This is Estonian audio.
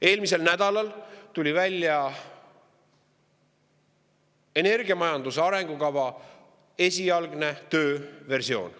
Eelmisel nädalal tuli välja energiamajanduse arengukava esialgne tööversioon.